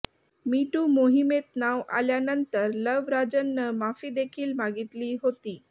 मी too मोहिमेत नाव आल्यानंतर लव राजननं माफी देखील मागितली होती